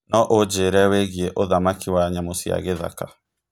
no ũjĩre wĩigie ũthamaki wa nyamũ cia gĩthaka